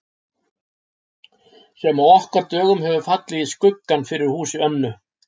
Sem á okkar dögum hefur fallið í skuggann fyrir húsi Önnu